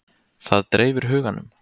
Það dreifir huganum.